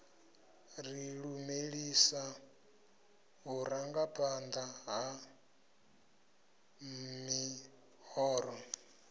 ri lumelisa vhurangaphanḓa ha ḽihoro